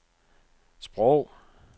sprog